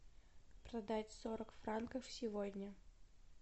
продать сорок франков сегодня